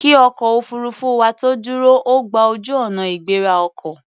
Kí ọkọ̀ òfuurufú wa tó dúró, ó gba ojú-ọ̀nà ìgbéra ọkọ̀.